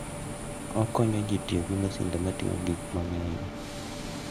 Okonyo ji tiyo gi masinde ma ting'o gik mang'eny.